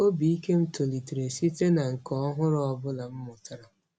Obi ike m tolitere site na nka ọhụrụ ọ bụla m mụtara.